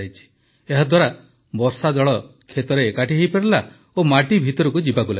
ଏହାଦ୍ୱାରା ବର୍ଷାଜଳ କ୍ଷେତରେ ଏକାଠି ହୋଇପାରିଲା ଓ ମାଟି ଭିତରକୁ ଯିବାକୁ ଲାଗିଲା